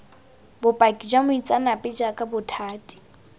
bopaki jwa moitseanape jaaka bothati